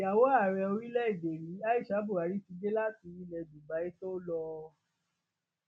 ìyàwó ààrẹ orílẹèdè yìí aisha buhari ti dé láti ilẹ dubai tó lò ó